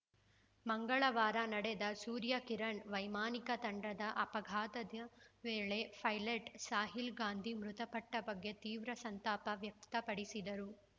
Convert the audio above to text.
ಮಂಗಳವಾರ ನಡೆದ ಸೂರ್ಯ ಕಿರಣ್‌ ವೈಮಾನಿಕ ತಂಡದ ಅಪಘಾತದ ವೇಳೆ ಫೈ ಲಟ್‌ ಸಾಹಿಲ್‌ ಗಾಂಧಿ ಮೃತಪಟ್ಟಬಗ್ಗೆ ತೀವ್ರ ಸಂತಾಪ ವ್ಯಕ್ತಪಡಿಸಿದರು